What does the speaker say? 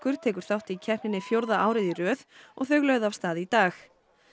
tekur þátt í keppninni fjórða árið í röð og þau lögðu af stað í dag